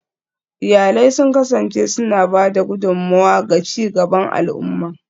Iyalai sun kasance suna ba da gudummawa ga ci gaban al'umma